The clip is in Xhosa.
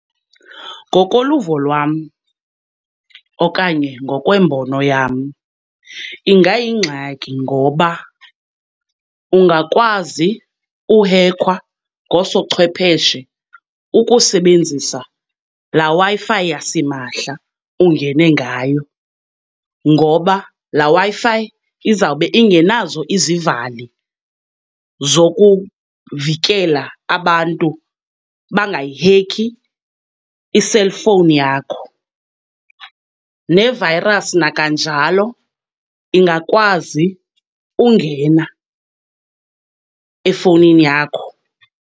Ngokoluvo lwam okanye ngokwembono yam ingayingxaki, ngoba ungakwazi uhekhwa ngoosochwepheshe ukusebenzisa laa Wi-Fi yasimahla ungene ngayo. Ngoba laa Wi-Fi izawube ingenazo izivali zokuvikela abantu bangayihekhi i-cellphone yakho, ne-virus nakanjalo ingakwazi ungena efownini yakho.